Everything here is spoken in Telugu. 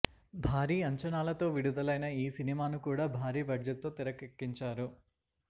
భారీ అంచనాలతో విడుదలైన ఈ సినిమాను కూడా భారీ బడ్జెట్ తో తెరకెక్కించారు